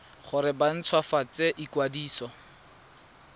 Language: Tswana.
gore ba nt hwafatse ikwadiso